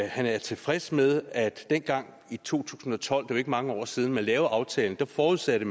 han er tilfreds med at man dengang i to tusind og tolv det ikke mange år siden man lavede aftalen forudsatte